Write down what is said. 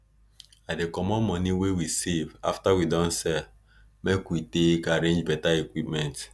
i dey commot moni wey we save after we don sell make we we take arrange beta equipment